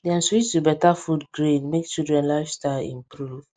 dem switch to better food grain make children lifestyle improve